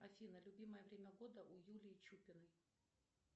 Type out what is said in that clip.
афина любимое время года у юлии чупиной